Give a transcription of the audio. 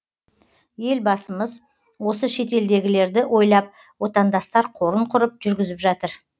елбасымыз осы шетелдегілерді ойлап отандастар қорын құрып жүргізіп жатыр